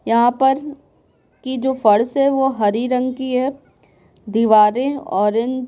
यहाँ पर कि जो फर्स है वो हरी रंग की है दीवारें ऑरेंज --